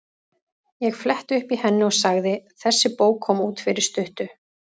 Ég fletti upp í henni og sagði: Þessi bók kom út fyrir stuttu.